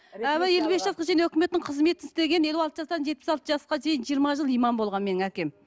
ы елу бес жасқа шейін өкіметтің қызметін істеген елу алты жастан жетпіс алты жасқа дейін жиырма жыл имам болған менің әкем